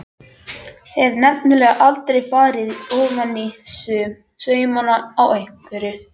Hef nefnilega aldrei farið ofaní saumana á einveru minni.